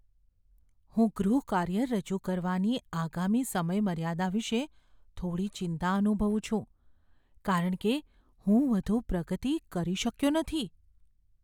હું ગૃહકાર્ય રજૂ કરવાની આગામી સમયમર્યાદા વિશે થોડી ચિંતા અનુભવું છું કારણ કે હું વધુ પ્રગતિ કરી શક્યો નથી.